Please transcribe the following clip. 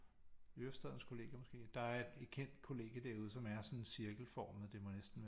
Ørestadens kollegie måske der er et kendt kollegie som er sådan cirkelformet det må næsten